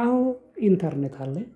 አዎ ኢንተርኔት አለኝ።